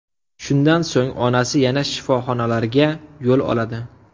Shundan so‘ng onasi yana shifoxonalarga yo‘l oladi.